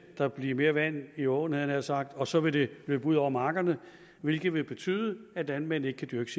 der blive mere vand i åen havde jeg nær sagt og så vil det løbe ud over markerne hvilket vil betyde at landmænd ikke kan dyrke